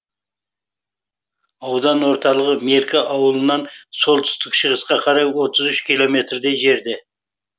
аудан орталығы меркі ауылынан солтүстік шығысқа қарай отыз үш километрдей жерде